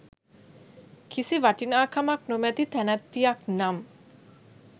කිසි වටිනාකමක් නොමැති තැනැත්තියක් නම්